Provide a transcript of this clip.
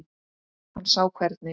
Hann sá hvernig